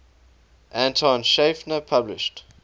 anton schiefner published